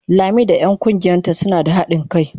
Lami da 'yan kungiyarta suna da hadin kai.